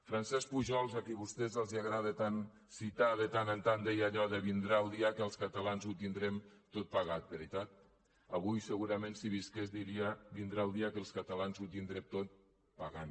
francesc pujols a qui vostès els agrada tant citar de tant en tant deia allò de vindrà el dia que els catalans ho tindrem tot pagat veritat avui segurament si visqués diria vindrà el dia que els catalans ho tindrem tot pagant